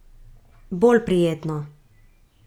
Bolj prijetno.